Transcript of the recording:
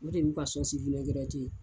O de y'u ka sɔsiwinɛgirɛti ye.